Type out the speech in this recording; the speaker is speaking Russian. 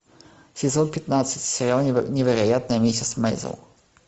сезон пятнадцать сериал невероятная миссис мейзел